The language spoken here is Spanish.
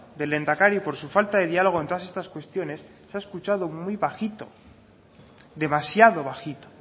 del lehendakari por su falta de diálogo en todas estas cuestiones se ha escuchado muy bajito demasiado bajito